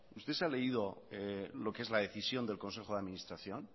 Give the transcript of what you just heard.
usted se ha leído lo que es la decisión del consejo de administración